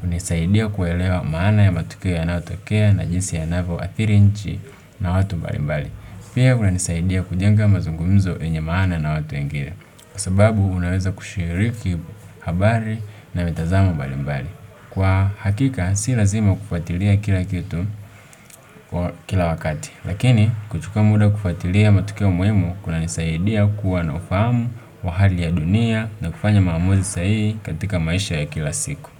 Hunisaidia kuelewa maana ya matukio yanayotokea na jinsi ya navo adhiri nchi na watu mbali mbali. Pia kuna nisaidia kujenga mazungumzo yenye maana na watu wengine. Kwa sababu unaweza kushiriki habari na mitazamo mbali mbali. Kwa hakika si lazima kufuatilia kila kitu kwa kila wakati. Lakini kuchuka muda kufuatilia matukio muhimu kuna nisaidia kuwa na ufahamu wa hali ya dunia na kufanya maamuzi sahihi katika maisha ya kila siku.